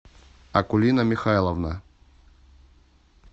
акулина михайловна